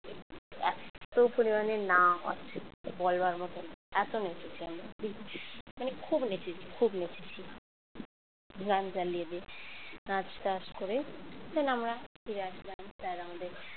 এওপরিমাণে নাচ বলবার মত নয় এত নেচেছি আমরা মানে খুব নেচেছি খুব নেচেছি গান চালিয়ে দিয়ে নাচ টাচ করে then আমরা ফিরে আসি বাড়ি sir আমাদের